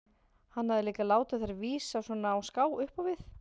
Hann hafði líka látið þær vísa svona á ská upp á við.